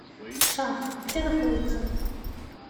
шах где находится